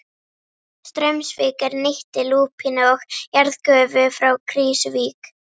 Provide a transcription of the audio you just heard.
Straumsvík er nýtti lúpínu og jarðgufu frá Krýsuvík.